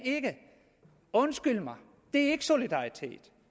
undskyld mig det er ikke solidaritet